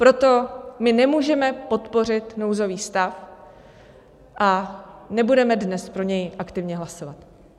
Proto my nemůžeme podpořit nouzový stav a nebudeme dnes pro něj aktivně hlasovat.